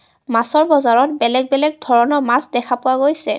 মাছৰ বজাৰত বেলেগ বেলেগ ধৰণৰ মাছ দেখা পোৱা গৈছে.